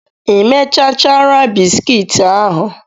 Ị mechachara bisikiiti ahụ?